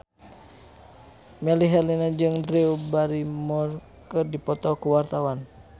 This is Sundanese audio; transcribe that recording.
Melly Herlina jeung Drew Barrymore keur dipoto ku wartawan